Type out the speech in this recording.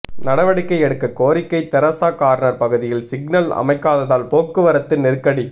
நடவடிக்கை எடுக்க கோரிக்கை தெரசா கார்னர் பகுதியில் சிக்னல் அமைக்காததால் போக்குவரத்து நெருக்கடி